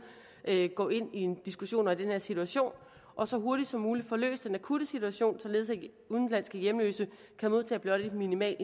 går ind i en diskussion om den her situation og så hurtigt som muligt får løst den akutte situation således at udenlandske hjemløse kan modtage blot en minimal